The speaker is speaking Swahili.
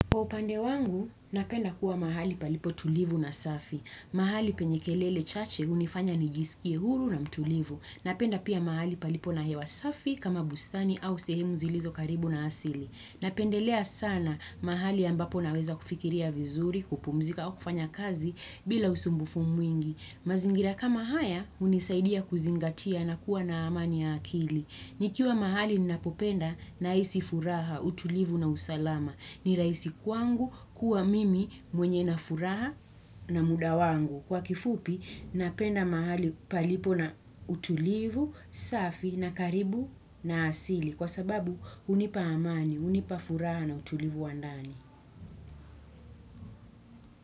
Kwa upande wangu, napenda kuwa mahali palipo tulivu na safi. Mahali penye kelele chache hunifanya nijisikie huru na mtulivu. Napenda pia mahali palipo na hewa safi kama bustani au sehemu zilizo karibu na asili. Napendelea sana mahali ambapo naweza kufikiria vizuri, kupumzika au kufanya kazi bila usumbufu mwingi. Mazingira kama haya hunisaidia kuzingatia na kuwa na amani ya akili. Nikiwa mahali ninapopenda na hisi furaha, utulivu na usalama. Ni rahisi kwangu kuwa mimi mwenye na furaha na muda wangu. Kwa kifupi, napenda mahali palipo na utulivu, safi na karibu na asili. Kwa sababu, hunipa amani, hunipa furaha na utulivu wa ndani.